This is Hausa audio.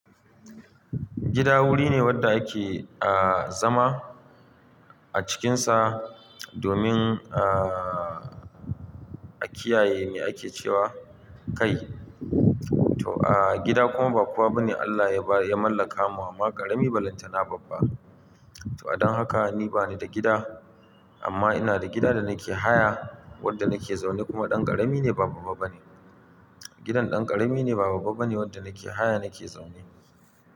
Gida wuri ne wanda ake a zama a cikinsa domin a kiyaye me ake cewa kai. To gida kuma ba kuwa bane Allah ya mallaka ma amma ƙarami ba lantana babba. To adon haka ni bane da gida amma ina da gida da nake haya wanda nake zaune kuma ɗan ƙarami ne ba babba bane. Gidan ɗan ƙarami ne ba babba bane wanda nake haya nake zaune.